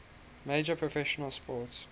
major professional sports